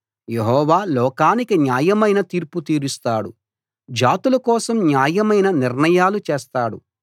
యెహోవా లోకానికి న్యాయమైన తీర్పు తీరుస్తాడు జాతుల కోసం న్యాయమైన నిర్ణయాలు చేస్తాడు